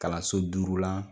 Kalanso duuru lan